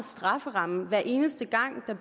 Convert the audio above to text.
strafferamme hver eneste gang